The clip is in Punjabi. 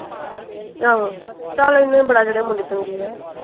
ਆਹੋ। ਚੱਲ ਇਹਨਾ ਹੀ ਬੜਾ ਜਿਹੜੇ ਮੁੰਡੇ ਚੰਗੇ ਆ।